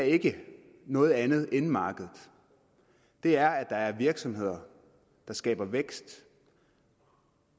ikke noget andet end markedet det er at der er virksomheder der skaber vækst